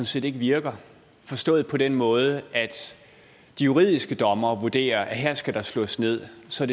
set virker forstået på den måde at de juridiske dommere vurderer at her skal der slås ned og så